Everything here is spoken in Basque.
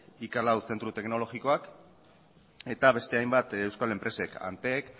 zentro teknologikoak eta beste hainbat euskal enpresek antec